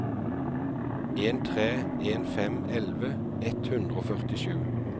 en tre en fem elleve ett hundre og førtisju